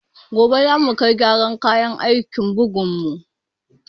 Gobe za mu kai gyaran kayan aikin bugun mu